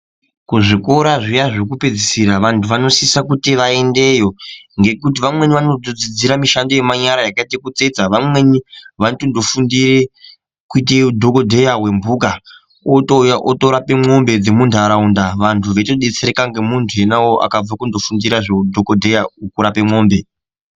Kuzvikora zviya zvekupedzisira vantu vanosisa kuti vaendeyo ngekuti vamweni vanotodzidzira mishando yemanyara yakaita sekutsetsa vamweni vanotondo fundire kuite dhokodheya wemhuka, otouya otorape mwombe dzemuntaraunda vantu veitodetsereka ngemuntu ena uwowo wakabve kundofundira zveudhokodheya wekurape mwombe.